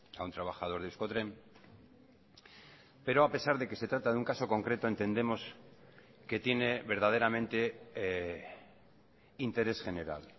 a un trabajador de euskotren pero a pesar de que se trata de un caso concreto entendemos que tiene verdaderamente interés general